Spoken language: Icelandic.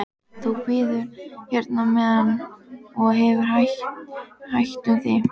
Þú bíður hérna á meðan og hefur hægt um þig.